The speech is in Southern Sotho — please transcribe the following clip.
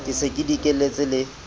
ke se ke dikelletse le